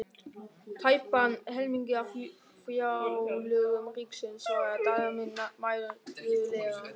Tæpan helming af fjárlögum ríkisins, svaraði Daninn mæðulega.